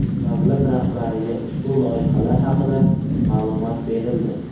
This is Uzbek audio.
Davlat rahbariga ushbu loyihalar haqida ma’lumot berildi.